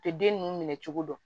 U tɛ den ninnu minɛ cogo dɔn